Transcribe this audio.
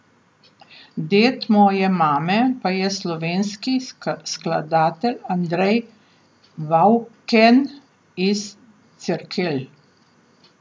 Ded moje mame pa je slovenski skladatelj Andrej Vavken iz Cerkelj.